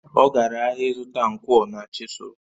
Ọ gara ahịa ịzụta nkwọ na chịsụlụ